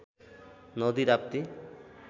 नदी राप्ती